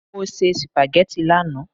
Mo se sìpàgẹ́tì lánàá.